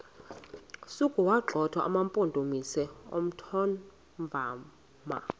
sokuwagxotha amampondomise omthonvama